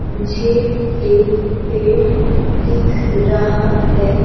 मुझे एक पेड़ दिख रहा है।